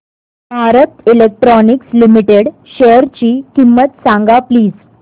Bharat Electronics Limited शेअरची किंमत सांगा प्लीज